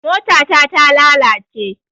Mota ta ta lalace